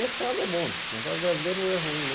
Mercado é bom, mercado brasileiro não é ruim, não.